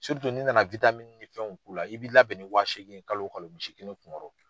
n'i na na ni fɛnw k'u la i b'i labɛn nin wa seegin ye kalo kalo misi kelen kun kɔrɔ.